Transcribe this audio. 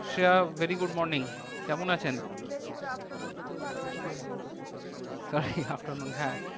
Shreya very good morning কেমন আছেন? very good afternoon আমি ভালো আছি, আপনি ভালো আছেন? sorry afternoon হ্যাঁ